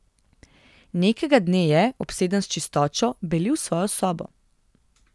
Nekega dne je, obseden s čistočo, belil svojo sobo.